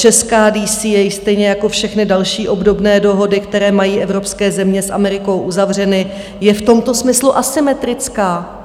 Česká DCA stejně jako všechny další obdobné dohody, které mají evropské země s Amerikou uzavřeny, je v tomto smyslu asymetrická.